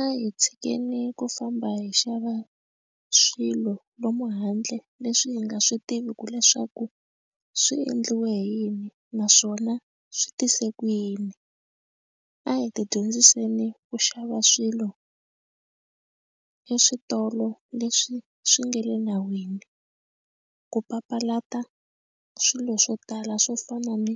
A hi tshikeni ku famba hi xava swilo lomu handle leswi hi nga swi tiviku leswaku swi endliwe hi yini naswona swi tise ku yini a hi ti dyondziseni ku xava swilo eswitolo leswi swi nga le nawini ku papalata swilo swo tala swo fana ni